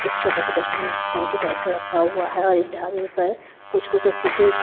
एक छोटा सा डस्टबिन टंकी टाइप का रखा हुआ है और इस ढामें पर कुछ-कुछ अच्छे से।